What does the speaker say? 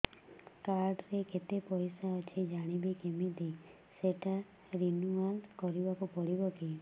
card ରେ କେତେ ପଇସା ଅଛି ଜାଣିବି କିମିତି ସେଟା ରିନୁଆଲ କରିବାକୁ ପଡ଼ିବ କି